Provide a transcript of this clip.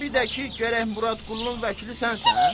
Və bir də ki, gərək Murad Qullunun vəkili sənsən?